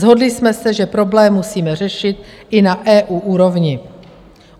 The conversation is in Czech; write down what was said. Shodli jsme se, že problém musíme řešit i na EU úrovni.